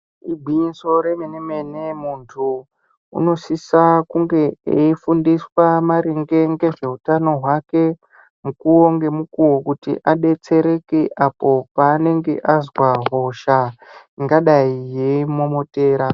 Igwinyiso remene-mene muntu unosisa kunge eifundiswa maringe ngezveutano hwake mukuwo ngemukuwo kuti adetsereke apo panenge azwa hosha ingadai yeimumomotera.